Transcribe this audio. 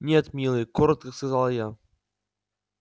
нет милый коротко сказал я